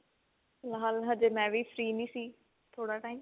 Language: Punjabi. ਫਿਲਹਾਲ ਹਜੇ ਮੈਂ ਵੀ free ਨਹੀ ਸੀ ਥੋੜਾ time